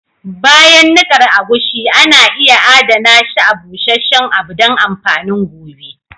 Bayan nikar agushi, ana iya Adana shi a busheshen abu don amfanin gobe.